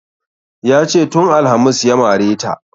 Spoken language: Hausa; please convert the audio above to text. Yace tun alhamis ya mare ta